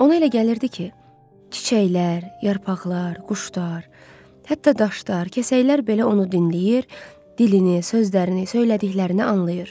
Ona elə gəlirdi ki, çiçəklər, yarpaqlar, quşlar, hətta daşlar, kəsəklər belə onu dinləyir, dilini, sözlərini, söylədiklərini anlayır.